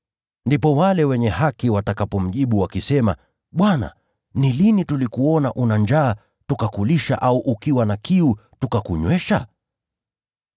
“Ndipo wale wenye haki watakapomjibu, ‘Bwana, ni lini tulikuona ukiwa na njaa tukakulisha, au ukiwa na kiu tukakunywesha?